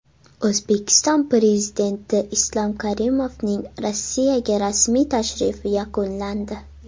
O‘zbekiston Prezidenti Islom Karimovning Rossiyaga rasmiy tashrifi yakunlandi.